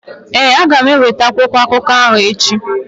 Ee, aga m eweta akwụkwọ akụkọ ahụ echi.